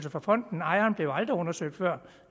for fonden ejeren blev aldrig undersøgt før